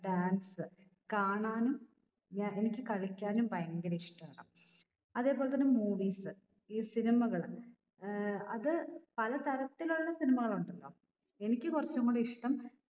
dance കാണാനും ഞ എനിക്ക് കളിക്കാനും ഭയങ്കര ഇഷ്ട്ടാണ് അതേപോലെ തന്നെ movies ഈ cinema കൾ ഏർ അത് പല തരത്തിലുള്ള cinema കൾ ഉണ്ടല്ലോ എനിക്ക് കുറച്ചും കൂടി ഇഷ്ട്ടം